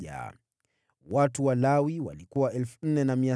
Watu wa Lawi walikuwa 4,600,